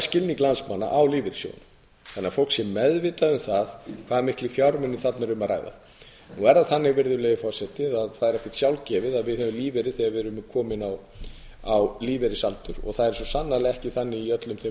skilning landsmanna á lífeyrissjóðunum þannig að fólk sé meðvitað um það hversu mikla fjármuni þarna er um að ræða það er ekkert sjálfgefið að við höfum lífeyri þegar við erum komin á lífeyrisaldur og það er svo sannarlega ekki þannig í öllum þeim